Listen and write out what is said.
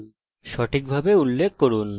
এটি সঠিকভাবে উল্লেখ করুন